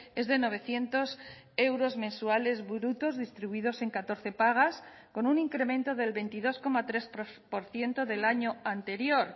es de novecientos euros mensuales brutos distribuidos en catorce pagas con un incremento del veintidós coma tres por ciento del año anterior